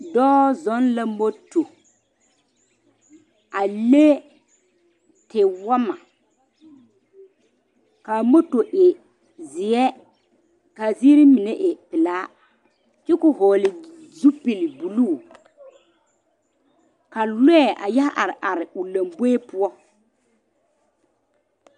Dɔɔ zɔŋ la moto a le tewɔɔma kaa moto e ziɛ kaa ziiri mine e pelaa kyɛ ko vɔgle zupele buluu ka lɔɛ a yɛ are are o lanboɛ poɔ.